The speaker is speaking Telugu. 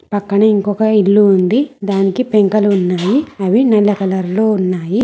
పక్కనే ఇంకొక ఇల్లు ఉంది దానికి పెంకులు ఉన్నాయి అవి నల్ల కలర్ లో ఉన్నాయి.